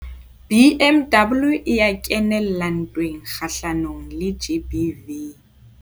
BMW e ya kenella ntweng kgahlanong le GBV.